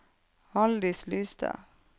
Haldis Lystad